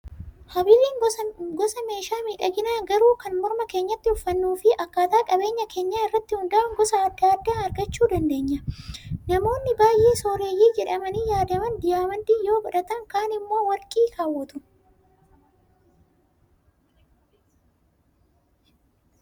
Habiliin gosa meeshaa miidhaginaa gruu kan morma keenyatti uffannuu fi akkaataa qabeenya keenyaa irratti hundaa; uun gosa adda addaa argachuu dandeenya. Namoonni baay'ee sooreyyii jedhamanii yaadaman diyaamandii yoo godhatan kaan immoo warqii kaawwatu.